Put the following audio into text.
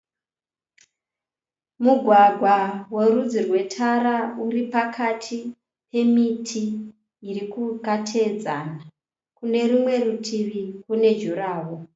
Mugwagwa werudzi rwe tara uripakati pemiti yakateedzana. Kune rumwe rutivi kune juraworo.